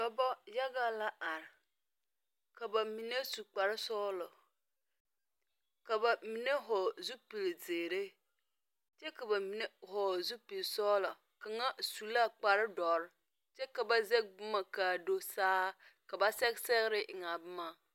Dɔba yaga la arẽ ka ba mene su kpare sɔglo ka ba mene vɔgli zupili zeeri kye ka ba mene vɔgle zupili sɔglo kanga su la kpare duro kye ka ba zege buma kaa do saa ka ba sege segre eng a buma.